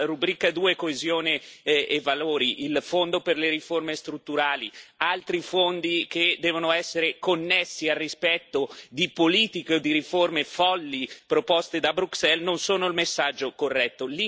La rubrica II Coesione e valori, il fondo per le riforme strutturali, altri fondi che devono essere connessi al rispetto di politiche o di riforme folli proposte da Bruxelles, non sono il messaggio corretto.